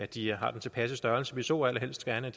de har den tilpasse størrelse vi så allerhelst at